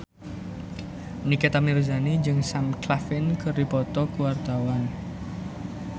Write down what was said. Nikita Mirzani jeung Sam Claflin keur dipoto ku wartawan